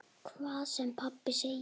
Hvað sem pabbi sagði.